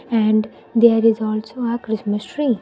And there is also a christmas tree.